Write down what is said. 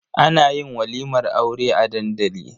Ana yin walimar Aure a dandali.